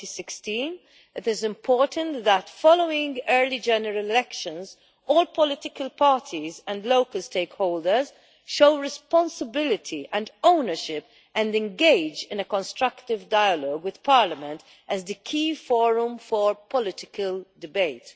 2016. It is important that, following early general elections, all political parties and local stakeholders show responsibility and ownership and engage in a constructive dialogue with parliament, as the key forum for political debate.